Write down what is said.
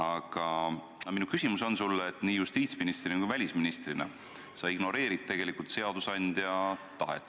Aga nii justiitsministri kui ka välisministrina oled sa tegelikult seadusandja tahet ignoreerinud.